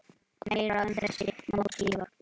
Meira um þessi mót síðar.